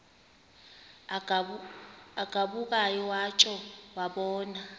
agabukayo watsho wabona